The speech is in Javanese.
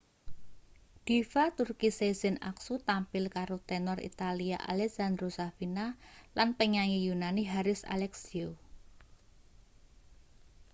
diva turki sezen aksu tampil karo tenor italia alessandro safina lan penyanyi yunani haris alexiou